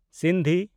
Sindhi